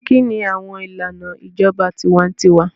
Kini awọn ilana ijọba tiwantiwa?